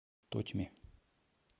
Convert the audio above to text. тотьме